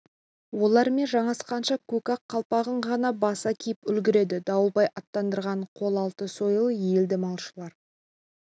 олармен жанасқанша көк ақ қалпағын ғана баса киіп үлгерді дауылбай аттандырған қол алты сойыл еді малшылар